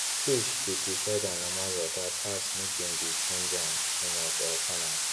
fish they prefer their normal water pass make them they change am too much or turn am